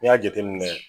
N'i y'a jateminɛ